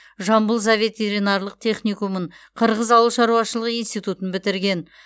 жамбыл зооветеринарлық техникумын қырғыз ауыл шаруашылығы институтын бітірген